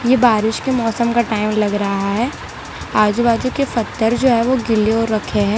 ये बारिश के मौसम का टाइम लग रहा है आजू बाजू के पत्थर जो है वो गीले हो रखे हैं।